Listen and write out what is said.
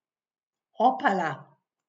Opala!